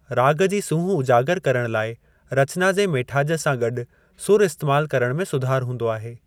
राॻ जी सूंहुं उजागर करण लाए रचना जी मेठाजि सां गॾु सुर इस्‍तेमाल करण में सुधार हूंदो आहे।